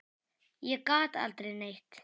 Ég gat aldrei neitt.